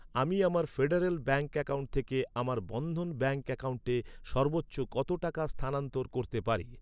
আমি আমার Federal Bank account থেকে আমার বন্ধন ব্যাঙ্ক অ্যাকাউন্টে সর্বোচ্চ কত টাকা স্থানান্তর করতে পারি?